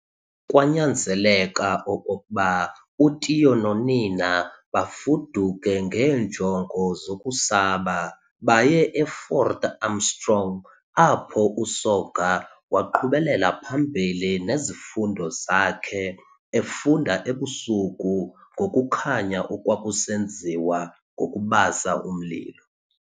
Kwanyanzeleka okokuba uTiyo nonina bafuduke ngeenjongo zokusaba baye e-Fort Armstrong, apho uSoga waqhubela phambili nezifundo zakhe, efunda ebusuku ngokukhanya okwakusenziwa ngokubasa umlilo.